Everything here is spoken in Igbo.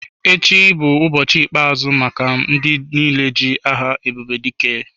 Echi bụ ụbọchị ikpe-azụ maka ndị niile ji aha Ebubedike.